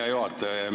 Hea juhataja!